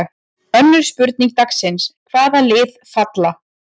Önnur spurning dagsins: Hvaða lið falla?